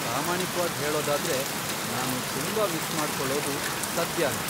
ಪ್ರಾಮಾಣಿಕ್ವಾಗ್ ಹೇಳೋದಾದ್ರೆ, ನಾನು ತುಂಬಾ ಮಿಸ್ ಮಾಡ್ಕೊಳ್ಳೋದು ಸದ್ಯಾನ.